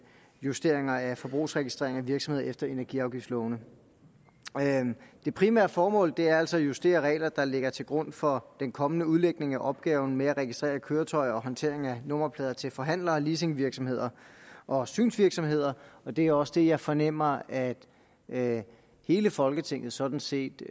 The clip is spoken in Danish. justeringer af forbrugsregistrering af virksomheder efter energiafgiftslovene det primære formål er altså at justere regler der ligger til grund for den kommende udlægning af opgaven med registrering af køretøjer og håndtering af nummerplader til forhandlere leasingvirksomheder og synsvirksomheder og det er også det jeg fornemmer at at hele folketinget sådan set